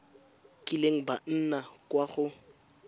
kileng ba nna kwa go